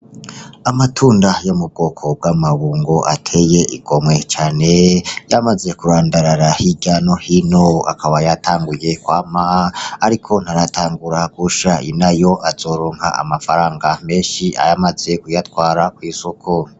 Amatunda yo mu bwoko bw'amabungo ateye igomwe cane yamaze kurandarara hiryo no hino akaba yatanguye kwama ariko ntaratangura gusha inayo azoronka amafaranga menshi amaze kuyatwara kw'isoko.